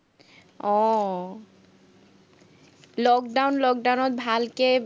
আহ lock-down lock-down ত ভালকে